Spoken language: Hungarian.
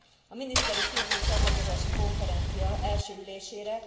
A miniszteri szintű csatlakozási konferencia első ülésére